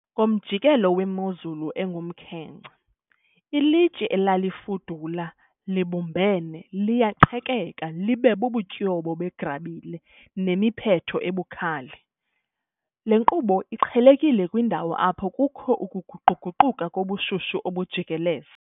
Ngomjikelo wemozulu engumkhenkce, ilitye, elalifudula libumbene, liyaqhekeka libe bubutyobo begrabile nemiphetho ebukhali, le nkqubo iqhelekile kwiindawo apho kukho ukuguquguquka kobushushu obujikeleze